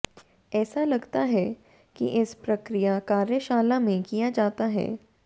ऐसा लगता है कि इस प्रक्रिया कार्यशाला में किया जाता है